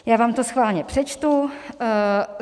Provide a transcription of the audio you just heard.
Já vám to schválně přečtu.